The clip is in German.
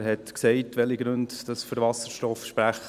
Der Motionär hat gesagt, welche Gründe für Wasserstoff sprechen.